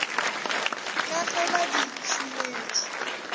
ka ge ba di šometše